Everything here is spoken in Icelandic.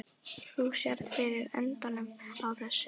Þú sérð fyrir endanum á þessu?